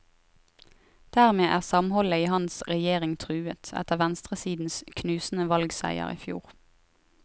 Dermed er samholdet i hans regjering truet, etter venstresidens knusende valgseier i fjor.